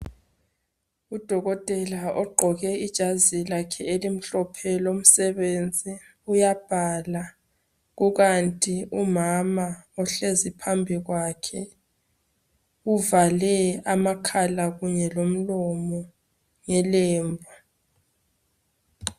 Udokotela ogqoke ijazi lakhe elimhlophe lomsebenzi uyabhala kukanti umama ohlezi phambi kwakhe uvale amakhala kunye lo mlomo ngelembu